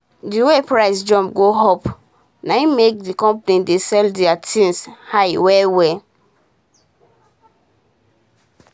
d way price jump go up na make d company dey sell deir tins high well well